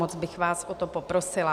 Moc bych vás o to poprosila.